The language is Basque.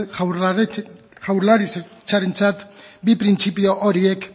jaurlaritzarentzat bi printzipio horiek